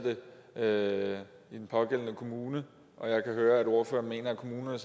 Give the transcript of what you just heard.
det i den pågældende kommune jeg kan høre at ordføreren mener at kommunerne